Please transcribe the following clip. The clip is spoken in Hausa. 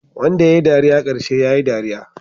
Wanda yayi dariya karshe yayi dariya